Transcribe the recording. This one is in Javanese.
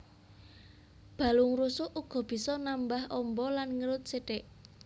Balung rusuk uga bisa nambah amba lan ngerut sithik